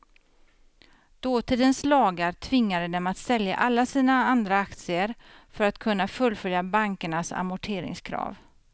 Dåtidens lagar tvingade dem att sälja alla sina andra aktier för att kunna fullfölja bankernas amorteringskrav.